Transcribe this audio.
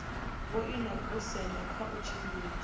vhoina goosen kha u tshimbidza